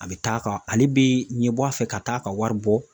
A bɛ taa ka, ale bɛ ɲɛbɔ a fɛ ka taa ka wari bɔ